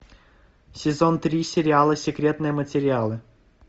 сезон три сериала секретные материалы